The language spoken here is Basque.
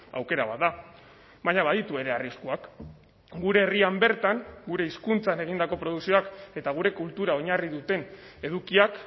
aukera bat da baina baditu ere arriskuak gure herrian bertan gure hizkuntzan egindako produkzioak eta gure kultura oinarri duten edukiak